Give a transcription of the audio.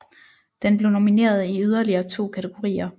Den blev nomineret i yderligere to kategorier